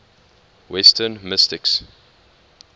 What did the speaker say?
western mystics